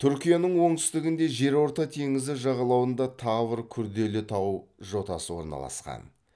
түркияның оңтүстігінде жерорта теңізі жағалауында тавр күрделі тау жотасы орналасқан